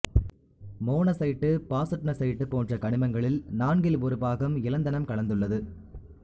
monazite bastnasite போன்ற கனிமங்களில் நான்கில் ஒரு பாகம் இலந்தனம் கலந்துள்ளது